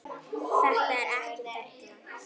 Það er ekki della.